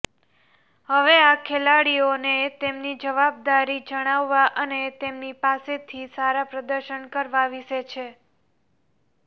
હવે આ ખેલાડીઓને તેમની જવાબદારી જણાવવા અને તેમની પાસેથી સારા પ્રદર્શન કરવા વિશે છે